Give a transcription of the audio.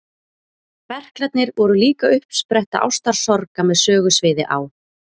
Berklarnir voru líka uppspretta ástarsorga með sögusviði á